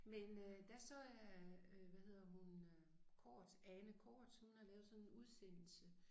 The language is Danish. Men øh der så jeg øh hvad hedder hun øh Cortzen Ane Cortzen hun har lavet sådan en udsendelse